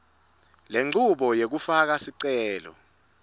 lenchubo yekufaka sicelo